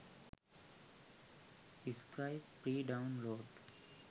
skype free download